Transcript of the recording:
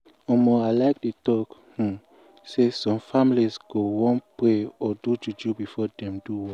i um like dey talk um say some families go wan pray or do juju before dem do work.